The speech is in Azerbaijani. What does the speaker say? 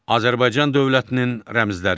Azərbaycan dövlətinin rəmzləri.